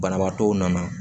Banabaatɔw nana